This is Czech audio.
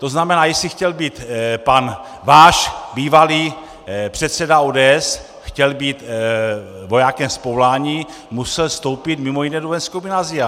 To znamená, jestli chtěl být pan váš bývalý předseda ODS, chtěl být vojákem z povolání, musel vstoupit mimo jiné do vojenského gymnázia.